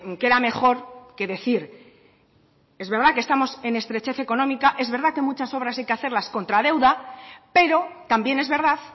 queda mejor que decir que es verdad que estamos en estrechez económica es verdad que muchas obras hay que hacerlas contra deuda pero también es verdad